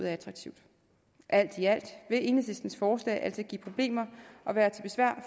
er attraktivt alt i alt vil enhedslistens forslag altså give problemer og være til besvær